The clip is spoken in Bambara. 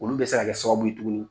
Olu bɛ se kɛ sababu ye tuguni,